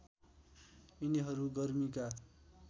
यिनीहरू गर्मीका